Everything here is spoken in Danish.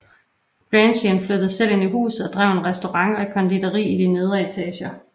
Grandjean flyttede selv ind i huset og drev en restaurant og et konditori i de nedre etager